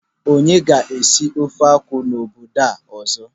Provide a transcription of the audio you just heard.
Onye na-aga isi ofe akwụ n'obodo a ọzọ?